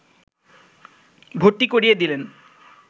ভর্তি করিয়ে দিলেন